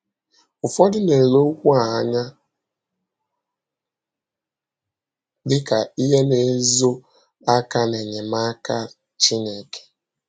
Ụfọdụ na - ele okwu a anya dị ka ihe na - ezo aka n’enyemaka Chineke.